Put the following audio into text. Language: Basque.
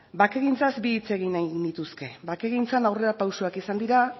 bakegintzaz bi hitz egin nahi genituzke bakegintzan aurrera pausuak izan dira